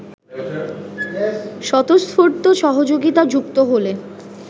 স্বতঃস্ফূর্ত সহযোগিতা যুক্ত হলে